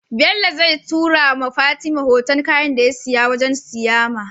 Bello zai tura wa fatima hoton kayan da yasiya wajan siyama